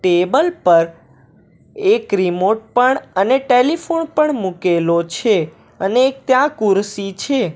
Table પર એક remote પણ અને ટેલીફોણ પણ મુકેલો છે અને એક ત્યાં કુરશી છે.